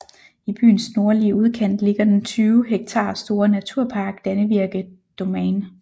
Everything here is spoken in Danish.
I byens nordlige udkant ligger den 20 hektar store naturpark Dannevirke Domain